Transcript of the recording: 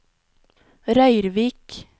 Røyrvik